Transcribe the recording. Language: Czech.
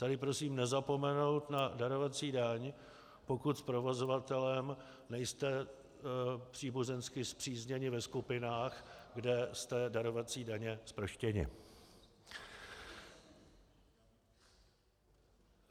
Tady prosím nezapomenout na darovací daň, pokud s provozovatelem nejste příbuzensky spřízněni ve skupinách, kde jste darovací daně zproštěni.